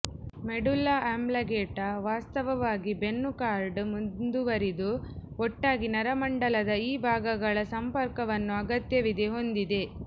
medulla oblongata ವಾಸ್ತವವಾಗಿ ಬೆನ್ನು cord ಮುಂದುವರಿದು ಒಟ್ಟಾಗಿ ನರಮಂಡಲದ ಈ ಭಾಗಗಳ ಸಂಪರ್ಕವನ್ನು ಅಗತ್ಯವಿದೆ ಹೊಂದಿದೆ